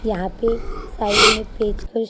यहां पे साइड में पेचकस--